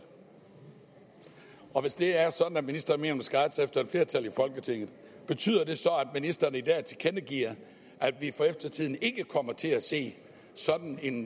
og hvis det er sådan at ministeren mener at man skal rette sig efter et flertal i folketinget betyder det så at ministeren i dag tilkendegiver at vi for eftertiden ikke kommer til at se sådan en